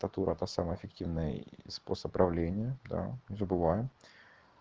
татура это самый эффективный способ управления да не забываем